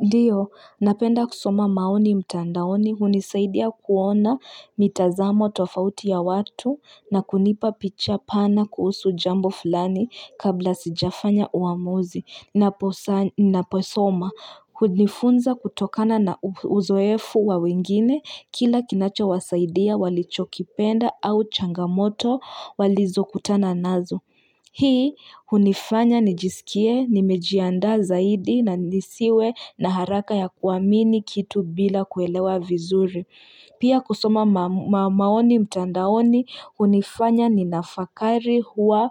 Ndiyo, napenda kusoma maoni mtandaoni, unisaidia kuona mitazamo tofauti ya watu, na kunipa picha pana kuhusu jambo fulani kabla sijafanya uamuzi napo soma, ujifunza kutokana na uzoefu wa wengine, kila kinacho wasaidia walichokipenda au changamoto walizo kutana nazo. Hii unifanya nijisikie, nimejiandaa zaidi na nisiwe na haraka ya kuamini kitu bila kuelewa vizuri. Pia kusoma maoni mtandaoni unifanya ninafakari hua